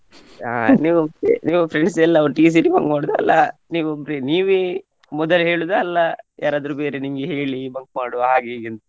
ಅಹ್ ಅಹ್ ನೀವ್ ನೀವ್ friends ಎಲ್ಲ ಒಟ್ಟಿಗೆ ಸೇರಿ bunk ಮಾಡುದ ಅಲ್ಲ ನೀವ್ ಒಬ್ರೇ ನೀವೇ ಮೊದಲೇ ಹೇಳುದಾ ಅಲ್ಲ ಯಾರಾದ್ರು ಬೇರೆ ನಿಮ್ಗೆ ಹೇಳಿ bunk ಮಾಡುವ ಹಾಗೆ ಹೀಗೆ ಅಂತ